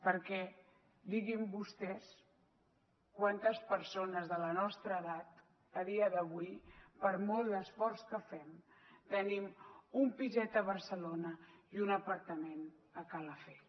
perquè diguin vostès quantes persones de la nostra edat a dia d’avui per molt d’esforç que fem tenim un piset a barcelona i un apartament a calafell